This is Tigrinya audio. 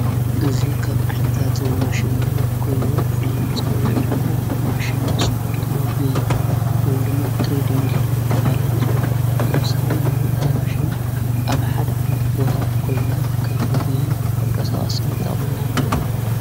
እዙ ኻብ ዓይነታት ማሽን ኮይኑ ፍሉይ መጸውዑ ድማ ማሽን ስፖርት ሞጉየይ ምን ድማ ትድ ሚል እናቲብሃለ ይጽዋዕ ብተወሳኸይ ድማ እዝማሽን ኣብ ሓድ ዓዒይነት ቦታ ኮንንና ኸብ ሞጌይ መንቀሳቀሲ ይጣቕምና ማለት እየ።